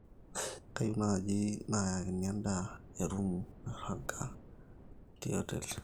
kayieu naaji naayakini endaa erumu nairagita tena hoteli inyi